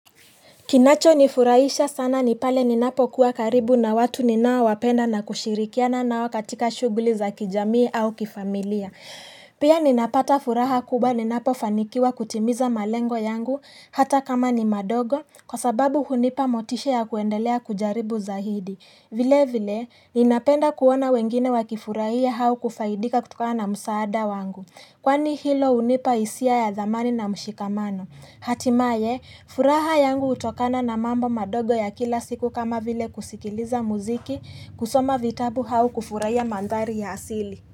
Kinacho nifurahisha sana nipale ninapo kuwa karibu na watu ninaowapenda na kushirikiana na wakatika shughuli za kijamii au kifamilia. Pia ninapata furaha kubwa ninapo fanikiwa kutimiza malengo yangu hata kama ni madogo kwa sababu hunipa motisha ya kuendelea kujaribu zaidi. Vile vile ninapenda kuona wengine wakifurahia au kufaidika kutokana na msaada wangu. Kwani hilo hunipa isia ya dhamani na mshikamano. Hatimaye furaha yangu hutokana na mambo madogo ya kila siku kama vile kusikiliza muziki kusoma vitabu au kufurahia mandari ya asili.